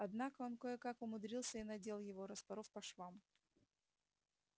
однако он кое-как умудрился и надел его распоров по швам